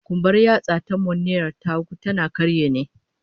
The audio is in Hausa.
Kumbar yatsa ta manuniya ta hagu, tana karye ne